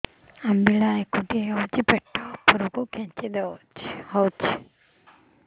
ଅମ୍ବିଳା ହେକୁଟୀ ହେଉଛି ପେଟ ଉପରକୁ ଖେଞ୍ଚି ହଉଚି